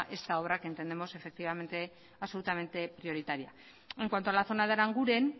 esta obra que entendemos absolutamente prioritaria en cuanto a la zona de aranguren